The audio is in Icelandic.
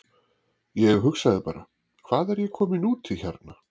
Ég hugsaði bara: Hvað er ég kominn út í hérna?